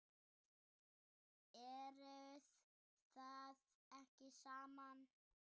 Eruð þið ekki saman?